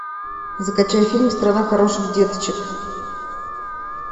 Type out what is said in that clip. закачай фильм страна хороших деточек